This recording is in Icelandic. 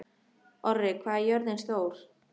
Orri, hvað er jörðin stór?